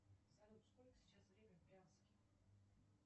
салют сколько сейчас время в брянске